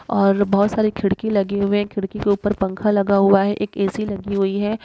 और बहुत सारी खिड़की लगी हुई है। खिड़की के ऊपर पंखा लगा हुआ है। एक ऐ.सी. लगी हुई है।